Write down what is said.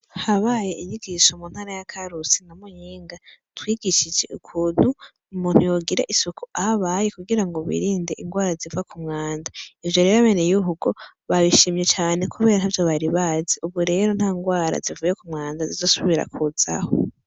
Habaye inyigisho mu ntara ya Karusi na Muyinga, twigishije ukuntu umuntu yogira isuku ahabaye kugira ngo wirinde indwara ziva kumwanda. Ivyo rero abenegihugu babishimye cane kubera ntavyo bari bazi, ubu rero ntandwara zivuye ku mwanda zizosubira kuzaho.